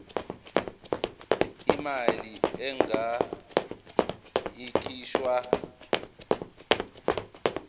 imali engur ikhishwa